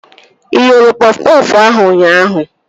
Ị ghere pọf pọfụ ahụ ụnyaahụ?